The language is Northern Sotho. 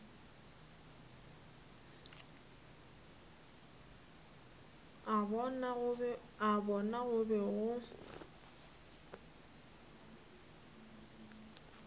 a bona go be go